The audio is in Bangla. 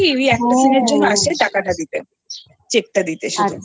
Last এ ওই একটা সিন এর জন্য আসছে টাকা দিতে check টা দিতে শুধু